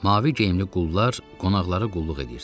Mavi geyimli qullar qonaqlara qulluq edirdilər.